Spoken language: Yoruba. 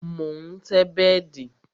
Mo ń tẹ́ bẹ́dì